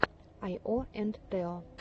айо энд тео